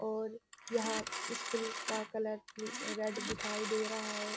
और यहाँ इसकूल का कलर भी रेड दिखाई दे रहा है।